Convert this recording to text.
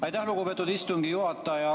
Aitäh, lugupeetud istungi juhataja!